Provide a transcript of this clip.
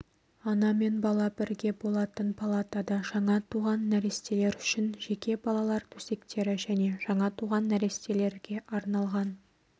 ана мен бала бірге болатын палатада жаңа туған нәрестелер үшін жеке балалар төсектері және жаңа туған нәрестелерге арналған